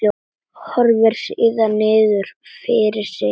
Horfir síðan niður fyrir sig.